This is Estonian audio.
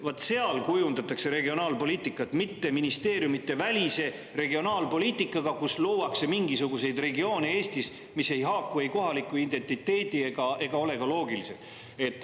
Vaat seal kujundatakse regionaalpoliitikat, mitte ministeeriumidevälise regionaalpoliitikaga, luues Eestis mingisuguseid regioone, mis ei haaku kohaliku identiteediga ega ole ka loogilised.